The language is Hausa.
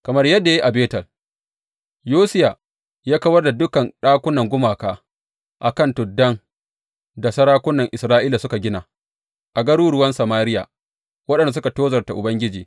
Kamar yadda ya yi a Betel, Yosiya ya kawar da dukan ɗakunan gumaka a kan tuddan da sarakunan Isra’ila suka gina a garuruwan Samariya, waɗanda suka tozarta Ubangiji.